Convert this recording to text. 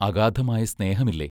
അഗാധമായ സ്നേഹമില്ലേ?